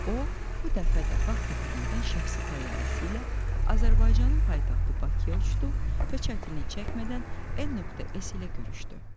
O bu dəfə də vaxt itirmədən şəxsi təyyarəsi ilə Azərbaycanın paytaxtı Bakıya uçdu və çətinlik çəkmədən n.s ilə görüşdü.